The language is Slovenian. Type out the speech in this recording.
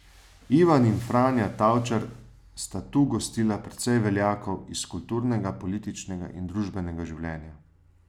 Ivan in Franja Tavčar sta tu gostila precej veljakov iz kulturnega, političnega in družbenega življenja.